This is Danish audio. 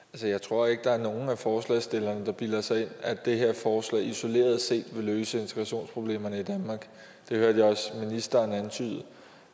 det jeg tror ikke der er nogen af forslagsstillerne der bilder sig ind at det her forslag isoleret set vil løse integrationsproblemerne i danmark det hørte jeg også ministeren antyde